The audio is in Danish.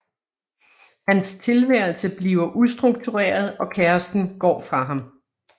Hans tilværelse bliver ustruktureret og kæresten går fra ham